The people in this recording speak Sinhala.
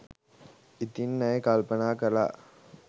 ඉතින් ඇය කල්පනා කළා